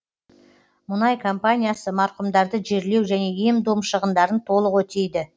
мұнай компаниясы марқұмдарды жерлеу және ем дом шығындарын толық өтейді